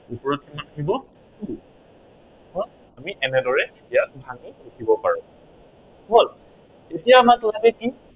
ওপৰত কিমান হব two আমি এনেদৰে এতিয়া ভাঙি লিখিব পাৰো। হল, এতিয়া আমাক লাগে কি